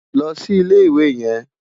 Ló si Ilé Iwé yèn